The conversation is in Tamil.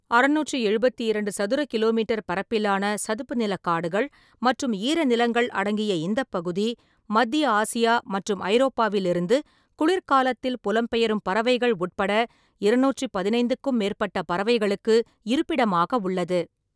அறுநூற்றி எழுபத்தி இரண்டு சதுர கி. மீ. பரப்பிலான சதுப்பு நிலக் காடுகள் மற்றும் ஈரநிலங்கள் அடங்கிய இந்தப் பகுதி, மத்திய ஆசியா மற்றும் ஐரோப்பாவிலிருந்து குளிர்காலத்தில் புலம்பெயரும் பறவைகள் உட்பட இரநூற்றி பதினேழுக்கும் மேற்பட்ட பறவைகளுக்கு இருப்பிடமாக உள்ளது.